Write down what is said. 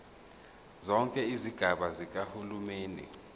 zonke izigaba zikahulumeni